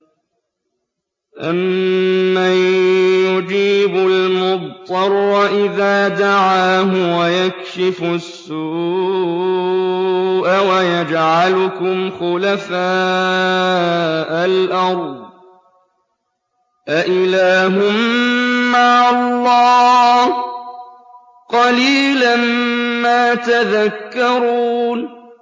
أَمَّن يُجِيبُ الْمُضْطَرَّ إِذَا دَعَاهُ وَيَكْشِفُ السُّوءَ وَيَجْعَلُكُمْ خُلَفَاءَ الْأَرْضِ ۗ أَإِلَٰهٌ مَّعَ اللَّهِ ۚ قَلِيلًا مَّا تَذَكَّرُونَ